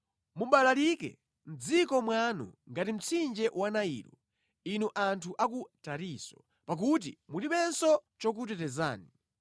Mubalalike mʼdziko mwanu ngati mtsinje wa Nailo inu anthu a ku Tarisisi, pakuti mulibenso chokutetezani.